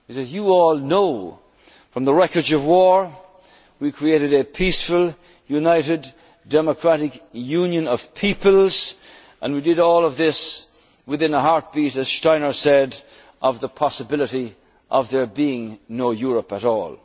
outstanding. You all know from the wreckage of war we created a peaceful, united, democratic union of peoples and we did all of this within a heartbeat, as Steiner said, of the possibility of there being no